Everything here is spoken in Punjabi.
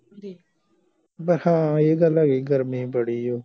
ਹਾਂ ਇਹ ਗੱਲ ਹੈਗੀ ਗਰਮੀ ਬੜੀ ਆ